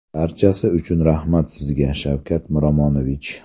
Barchasi uchun rahmat sizga, Shavkat Miromonovich!